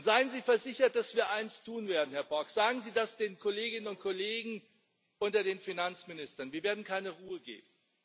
Seien Sie versichert, dass wir eins tun werden Herr Borg, sagen Sie das den Kolleginnen und Kollegen unter den Finanzministern Wir werden keine Ruhe geben.